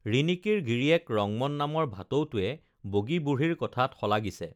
ৰিণি‍কীৰ গিৰিয়েক ৰংমন নামৰ ভাটৌটোৱে বগী বুঢ়ীৰ কথাত শলাগিছে